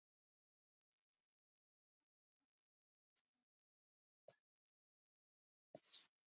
Þetta er frekar mikið.